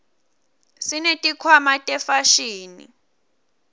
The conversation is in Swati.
sineti khwama tefashini